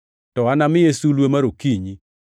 To anamiye sulwe mar okinyi.